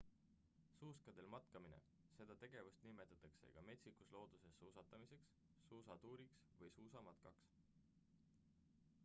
suuskadel matkamine seda tegevust nimetatakse ka metsikus looduses suustamiseks suusatuuriks või suusamatkaks